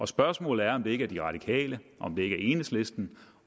spørgsmålet er om det ikke er de radikale om det ikke er enhedslisten